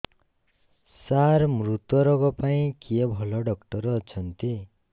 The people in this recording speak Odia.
ସାର ମୁତ୍ରରୋଗ ପାଇଁ କିଏ ଭଲ ଡକ୍ଟର ଅଛନ୍ତି